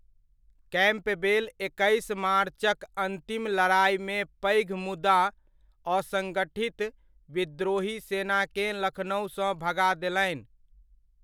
Campbell एकैस मार्चक अन्तिम लड़ाइमे पैघ मुदा असङ्गठित विद्रोही सेनाकेँ लखनउसँ भगा देलनि।